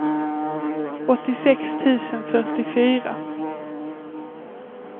åttiosex tusen fyrtiofyra